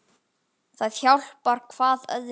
Það hjálpar hvað öðru.